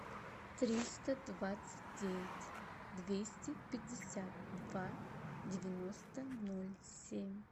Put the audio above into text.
триста двадцать девять двести пятьдесят два девяносто ноль семь